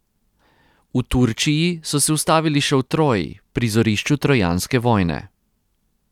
V Turčiji so se ustavili še v Troji, prizorišču trojanske vojne.